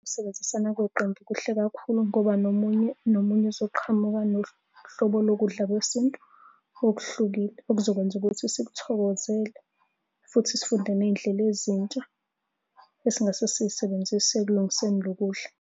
Ukusebenzisana kweqembu kuhle kakhulu ngoba nomunye nomunye uzoqhamuka nohlobo lokudla kwesintu okuhlukile okuzokwenza ukuthi sithokozele, futhi sifunde ney'ndlela ezintsha esingase sisebenzise ekulungiseni lo kudla.